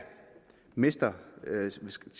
skal